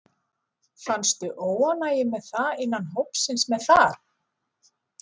Fannstu óánægju með það innan hópsins með það?